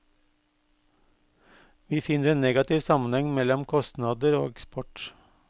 Vi finner en negativ sammenheng mellom kostnader og eksport.